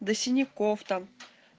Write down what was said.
до синяков там